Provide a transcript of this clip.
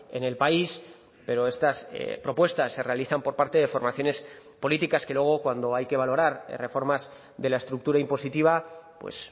en el país pero estas propuestas se realizan por parte de formaciones políticas que luego cuando hay que valorar reformas de la estructura impositiva pues